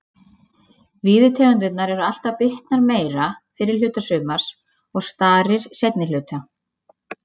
Víðitegundirnar eru alltaf bitnar meira fyrri hluta sumars og starir seinni hluta.